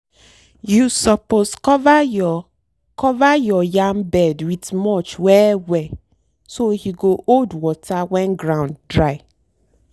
you suppose cover your cover your yam bed with mulch well well so e go hold water when ground dry.